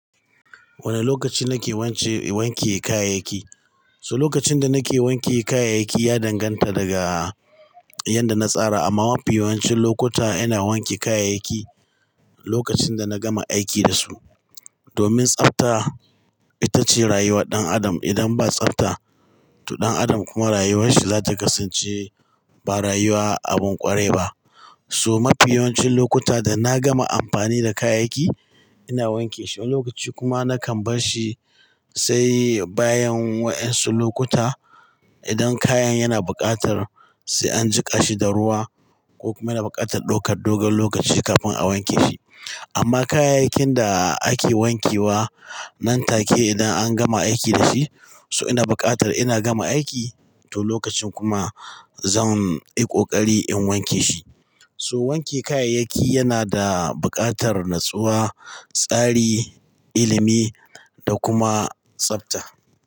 Wane lokaci nake wance, wanke kayayyaki? So lokacin da nake wanke kayayyaki ya danganta daga yanda na tsara. Amma mafi yawancin lokuta ina wanke kayayyaki lokacin da na gama aiki da su. Domin tsafta ita ce rayuwar ɗan adam. Idan ba tsafta to ɗan adam kuma rayuwanshi za ta kasance ba rayuwa abin ƙwarai ba. So mafi yawancin lokuta da na gama amfani da kayayyaki ina wanke shi. Lokaci kuma nakan bar shi sai bayan wayansu lokuta. Idan kayan yana buƙatar, sai an jiƙa shi da ruwa ko kuma yana buƙatar ɗaukar dogon lokaci kafin a wanke shi. Amma kayayyakin da ake wanke wa nan take idan an gama aiki da shi. So ina buƙatar ina gama aiki to lokacin kuma zan yi ƙoƙari in wanke shi. So wanke kayayyaki yana da buƙatar natsuwa, tsari, ilimi da kuma tsafta.